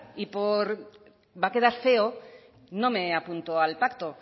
y por va a quedar feo no me apunto al pacto